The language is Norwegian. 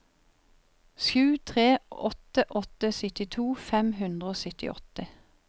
sju tre åtte åtte syttito fem hundre og syttiåtte